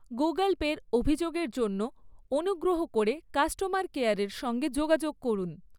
Google পের অভিযোগের জন্য অনুগ্রহ করে কাস্টমার কেয়ারের সঙ্গে যোগাযোগ করুন।